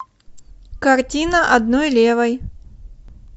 картина одной левой